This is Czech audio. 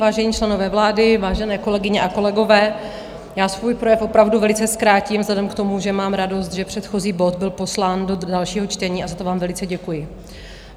Vážení členové vlády, vážené kolegyně a kolegové, já svůj projev opravdu velice zkrátím vzhledem k tomu, že mám radost, že předchozí bod byl poslán do dalšího čtení, a za to vám velice děkuji.